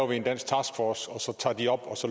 en dansk taskforce så tager den op og